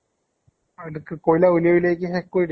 মানে কি কয়্লা উলিয়াই উলিয়াই কি শেষ কৰি দিলে?